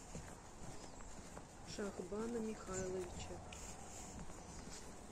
шахбана михайловича